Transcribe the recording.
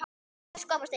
Elsku amma Steina mín.